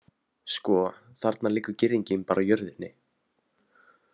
Sko, þarna liggur girðingin bara á jörðinni.